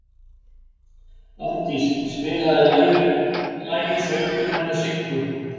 Árdís, spilaðu lagið „Söngurinn hennar Siggu“.